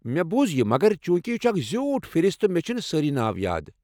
مےٚ بوُز، یہِ مگر چونکہ یہ چھُ اکھ زیوٹھ فہرست، مےٚ چھِنہٕ سٲری ناو یاد۔